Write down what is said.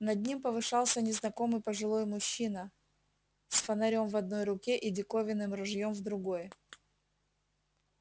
над ним повышался незнакомый пожилой мужчина с фонарём в одной руке и диковинным ружьём в другой